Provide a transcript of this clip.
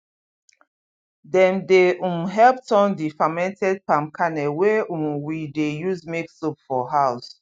dem dey um help turn the fermented palm kernel wey um we dey use make soap for house